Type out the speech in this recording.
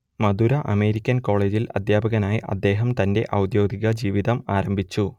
മധുര American കോളെജിൽ അദ്ധ്യാപകനായി അദ്ദേഹം തന്റെ ഔദ്യോഗിക ജീവിതം ആരംഭിച്ചു